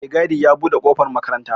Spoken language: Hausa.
maigadi ya buɗe ƙofar makaranta